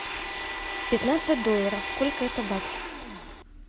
пятнадцать долларов сколько это баксов